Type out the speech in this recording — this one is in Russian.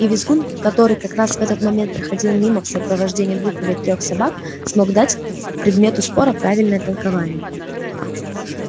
и визгун который как раз в этот момент проходил мимо в сопровождении двух или трёх собак смог дать предмету спора правильное толкование